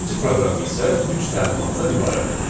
İkinci proqram isə üç təlimatdan ibarətdir.